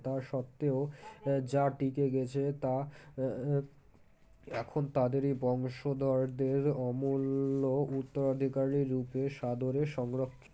তা সত্ত্বেও যা টিকে গেছে তা,,, এখন তাদের এই বংশধরদের অমূল্য উত্তরাধিকারী রূপে সাদরে সংরক্ষ